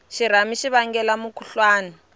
xirhami xi vangela mukhuhlwani